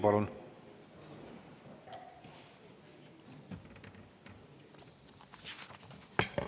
Palun!